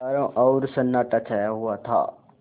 चारों ओर सन्नाटा छाया हुआ था